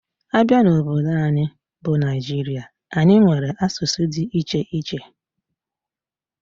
Abia n'obodo anyi bu Nigeria, anyi nwere asụsụ dị iche iche.